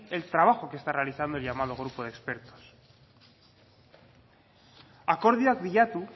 el trabajo que está realizando el llamado grupo de expertos akordioak bilatu